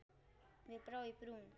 Mér brá í brún.